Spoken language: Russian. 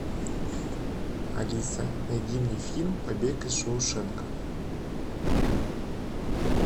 алиса найди мне фильм побег из шоушенка